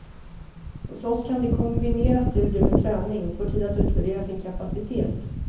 Hos oss kan de kombinera studier med träning, och få tid att utvärdera sin kapacitet.